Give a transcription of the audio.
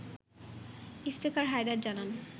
ইফতেখার হায়দার জানান